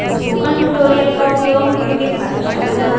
spoken tutorials का उपयोग करके कार्यशाला चलाती है